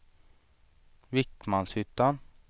Vikmanshyttan